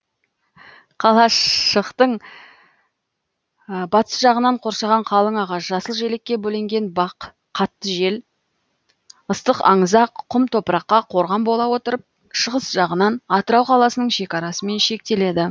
қалашықтың батыс жағынан қоршаған қалың ағаш жасыл желекке бөленген бақ қатты жел ыстық аңызақ құм топыракқа корған бола отырып шығыс жағынан атырау қаласының шекарасымен шектеледі